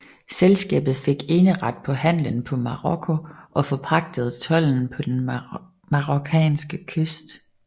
Selskabet fik eneret på handelen på Marokko og forpagtede tolden på den marokkanske kyst